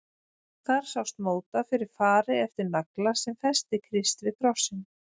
Þar sást móta fyrir fari eftir nagla sem festi Krist við krossinn.